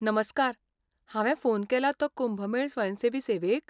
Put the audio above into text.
नमस्कार, हांवे फोन केला तो कुंभ मेळ स्वयंसेवी सेवेक?